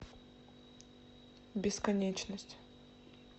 бесконечность